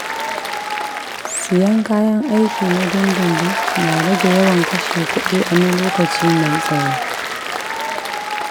Siyan kayan aiki na dindidin na rage yawan kashe kuɗi na lokaci mai tsawo.